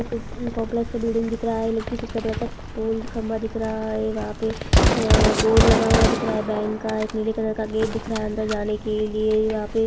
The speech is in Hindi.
एक काम्प्लेक्स का बिल्डिंग दिख रहा है इलेक्ट्रिसिटी का बड़ा पोल खम्भा दिख रहा है वहाँ पे अ बोर्ड लगा हुआ दिख रहा है बैंक का एक नीले कलर का गेट दिख रहा है अंदर जाने के लिए वहाँ पे--